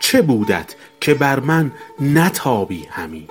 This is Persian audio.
چه بودت که بر من نتابی همی